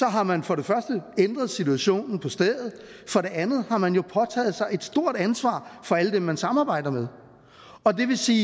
har man for det første ændret situationen på stedet for det andet har man jo påtaget sig et stort for alle dem man samarbejder med og det vil sige